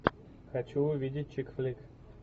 хочу увидеть чикфлик